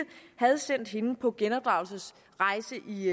havde sendt hende på genopdragelsesrejse i